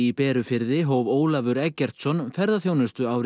Berufirði hóf Ólafur Eggertsson ferðaþjónustu